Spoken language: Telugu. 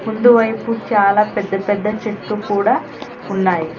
ముందు వైపు చాలా పెద్ద పెద్ద చెట్టు కూడా ఉన్నాయి.